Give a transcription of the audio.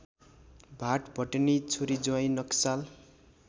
भाटभटेनी छोरीज्वाइँ नक्साल